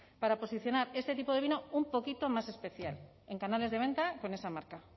para posicionar ese tipo de vino un poquito más especial en canales de venta con esa marca